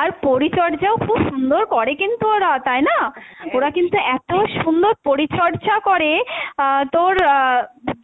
আর পরিচর্যাও খুব সুন্দর করে কিন্তু ওরা, তাই না? ওরা কিন্তু এত সুন্দর পরিচর্যা করে আহ তোর আহ